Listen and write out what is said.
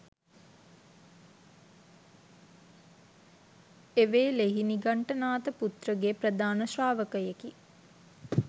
එවේලෙහි නිගණ්ඨනාථ පුත්‍ර ගේ ප්‍රධාන ශ්‍රාවකයෙක්